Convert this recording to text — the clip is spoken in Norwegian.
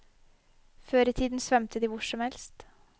Før i tiden svømte de hvor som helst.